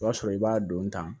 O b'a sɔrɔ i b'a don tan